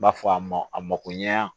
N b'a fɔ a ma a mako ɲɛ a